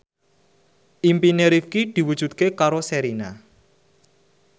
impine Rifqi diwujudke karo Sherina